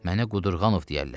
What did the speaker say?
Mənə Qudurqanov deyərlər.